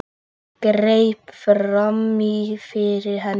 Greip fram í fyrir henni.